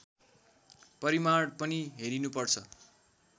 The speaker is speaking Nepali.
परिमाण पनि हेरिनुपर्छ